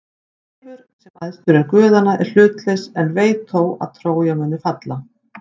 Seifur, sem æðstur er guðanna, er hlutlaus en veit þó að Trója mun falla.